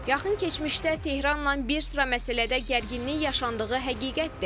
Yaxın keçmişdə Tehranla bir sıra məsələdə gərginlik yaşandığı həqiqətdir.